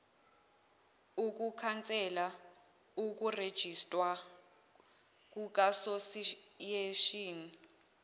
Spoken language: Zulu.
ukukhansela ukurejistwa kukasosiyeshini